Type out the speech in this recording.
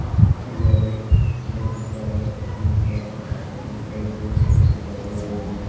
यह एक बगीचा है यहाँ पर बहुत सारे पेड़-पौधे लगे हुए हैं।